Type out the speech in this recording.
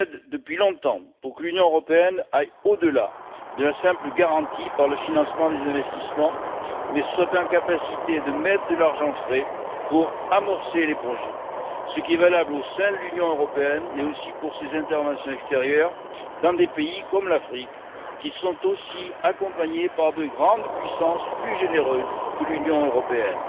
Depuis longtemps, je plaide pour que l'Union aille au delà de la simple garantie par le financement des investissements mais soit en capacité de mettre de l'argent frais pour amorcer les projets. Ce qui est valable au sein de l'Union européenne, l'est aussi pour ses interventions extérieures dans des pays comme l'Afrique, qui sont aussi accompagnés par de grandes puissances plus généreuses que l'Union européenne.